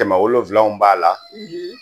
Kɛmɛ wolonwula mun b'a la